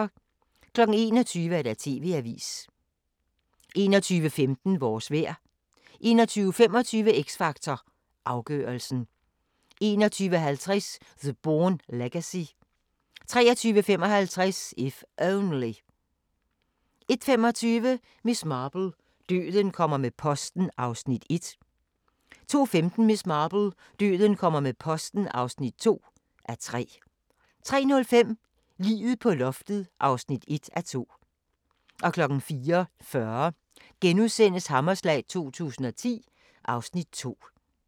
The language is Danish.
21:00: TV-avisen 21:15: Vores vejr 21:25: X Factor Afgørelsen 21:50: The Bourne Legacy 23:55: If Only 01:25: Miss Marple: Døden kommer med posten (1:3) 02:15: Miss Marple: Døden kommer med posten (2:3) 03:05: Liget på loftet (1:2) 04:40: Hammerslag 2010 (Afs. 2)*